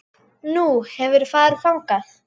Nú, hefurðu farið þangað?